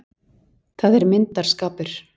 Það er myndarskapur.